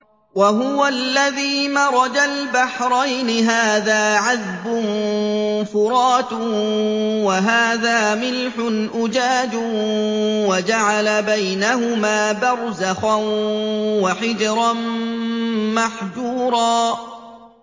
۞ وَهُوَ الَّذِي مَرَجَ الْبَحْرَيْنِ هَٰذَا عَذْبٌ فُرَاتٌ وَهَٰذَا مِلْحٌ أُجَاجٌ وَجَعَلَ بَيْنَهُمَا بَرْزَخًا وَحِجْرًا مَّحْجُورًا